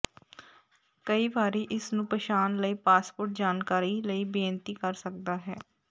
ਕਈ ਵਾਰੀ ਇਸ ਨੂੰ ਪਛਾਣ ਲਈ ਪਾਸਪੋਰਟ ਜਾਣਕਾਰੀ ਲਈ ਬੇਨਤੀ ਕਰ ਸਕਦਾ ਹੈ